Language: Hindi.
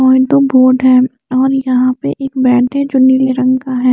और दो बोर्ड है और यहाँ पे एक बैड जो नीले रंग का है।